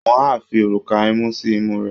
Wọ́n á fi òrùka imú sí imú rẹ̀